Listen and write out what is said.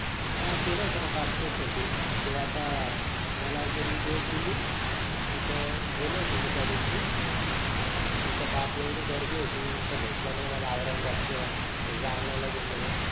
हा केला होतं ना Passport साठी. ते आता मला त्यांनी date दिली तिथं गेलो होतो मी त्या दिवशी तिथं बाप एवढी गर्दी होतीभेटलं नाही मला औरंगाबादच तर जालने ला गेलो.